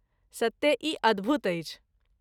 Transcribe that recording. सत्ते ई अद्भुत अछि।